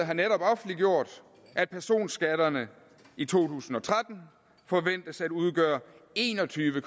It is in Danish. har netop offentliggjort at personskatterne i to tusind og tretten forventes at udgøre en og tyve